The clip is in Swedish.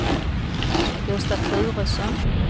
Gösta Turesson